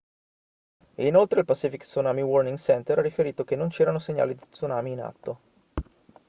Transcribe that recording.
e inoltre il pacific tsunami warning center ha riferito che non c'erano segnali di tsunami in atto